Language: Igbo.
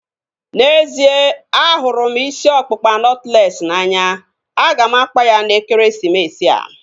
N'ezie, ahụrụ m isi ọkpụkpa nọtlees n'anya. A ga m akpa ya n'ekeresimesi a